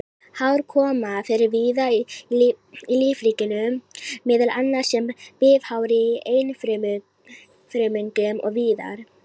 Hár koma fyrir víða í lífríkinu, meðal annars sem bifhár í einfrumungum og víðar.